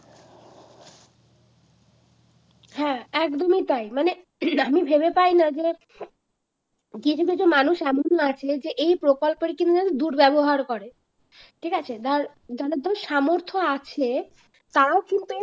হ্যাঁ একদমই তাই মানে আমি ভেবে পাই না যে কিছু কিছু মানুষ এমন আছে এই প্রকল্পের কিন্তু দুর্ব্যবহার করে ঠিক আছে ধর যাদের ধর সামর্থ আছে তারও কিন্তু